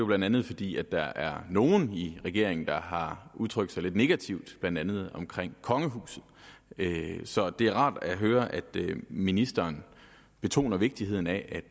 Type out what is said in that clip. blandt andet fordi der er nogle i regeringen der har udtrykt sig lidt negativt blandt andet kongehuset så det er rart at høre at ministeren betoner vigtigheden af at